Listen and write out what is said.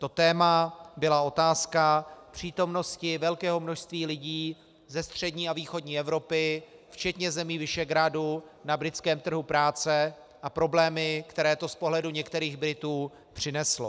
To téma byla otázka přítomnosti velkého množství lidí ze střední a východní Evropy včetně zemí Visegrádu na britském trhu práce a problémy, které to z pohledu některých Britů přineslo.